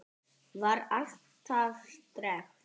Var alltaf sterk.